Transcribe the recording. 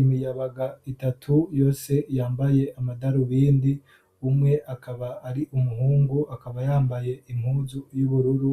imiyabaga itatu yose yambaye amadaru bindi umwe akaba ari umuhungu akaba yambaye impuzu y'ubururu